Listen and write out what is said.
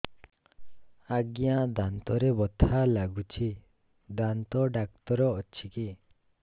ଆଜ୍ଞା ଦାନ୍ତରେ ବଥା ଲାଗୁଚି ଦାନ୍ତ ଡାକ୍ତର ଅଛି କି